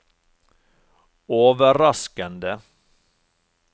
overraskende